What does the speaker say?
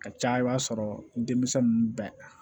A ka ca i b'a sɔrɔ denmisɛn ninnu bɛɛ